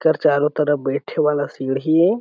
ए कर चारो तरफ बैठे वाला सीढ़ी ए।